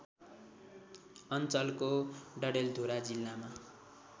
अञ्चलको डडेलधुरा जिल्लामा